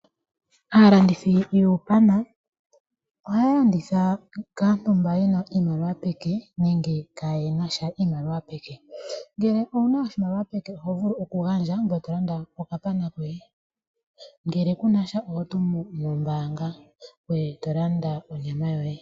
Aalandithi yuupana ohaya landitha kaantu mboka yena iimaliwa peke nenge ka yenasha iimaliwa peke, ngele owuna oshimaliwa peke oho vulu oku gandja ngoye to landa oka pana koye, ngele kunasha oho tumu no mbanga ngoye to landa onyama yoye.